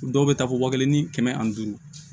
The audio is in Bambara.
Dɔw bɛ taa fɔ wa kelen ni kɛmɛ ani duuru